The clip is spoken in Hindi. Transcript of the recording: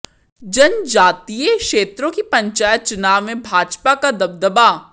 जनजातीय क्षेत्रों की पंचायत चुनाव में भाजपा का दबदबा